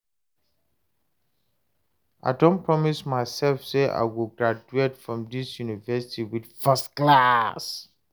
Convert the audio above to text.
I don promise myself say I go graduate from dis university with first class